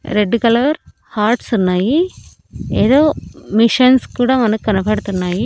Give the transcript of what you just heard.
Red colour hearts ఉన్నాయి ఎదో machines కుడా మనకనపడుతున్నాయి.